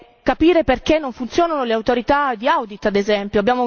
è? È capire perché non funzionano le autorità di audit ad esempio.